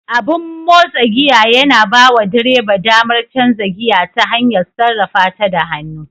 Abin motsa giya yana bawa direba damar canza giya ta hanyar sarrafata da hannu.